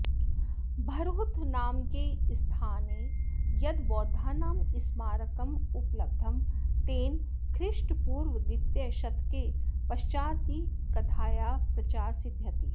भरहुत नामके स्थाने यद् बौध्दानां स्मारकमुपलब्धं तेन ख्रीष्टपूर्वद्वितीयशतके पश्वादिकथायाः प्रचार सिद्ध्यति